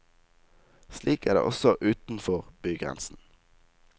Slik er det også utenfor bygrensen.